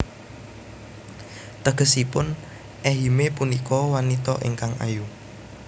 Tegesipun Ehime punika wanita ingkang ayu